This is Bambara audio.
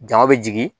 Jama bɛ jigin